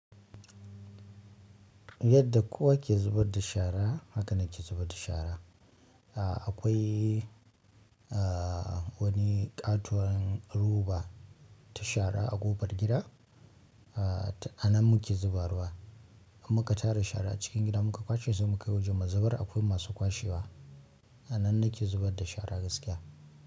Yadda kowa ke zubar da shara haka nake zubar da shara ahh. Akwai ahh wani ƙatuwan roba ta shara a ƙofar gida. Ahh t Anan muke zuba ruwa. Muka tara shara cikin gida muka kwashe sai mukai waje mu zubar. Akwai masu kwashewa. A nan nake zubar da shara gaskiya.